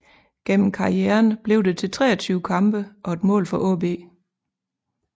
Gennem karrieren blev det til 23 kampe og et mål for AaB